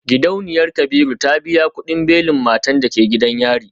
Gidauniyar kabiru ta biya kudin belin matan da ke gidan yari.